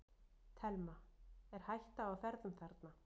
Telma: Er hætta á ferðum þarna?